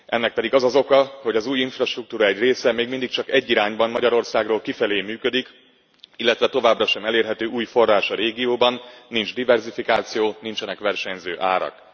Ennek pedig az az oka, hogy az új infrastruktúra egy része még mindig csak egy irányban, Magyarországról kifelé működik, illetve továbbra sem elérhető új forrás a régióban, nincs diverzifikáció, nincsenek versenyző árak.